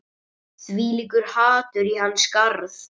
Þvílíkt hatur í hans garð